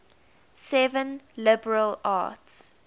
seven liberal arts